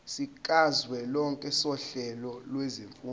sikazwelonke sohlelo lwezifundo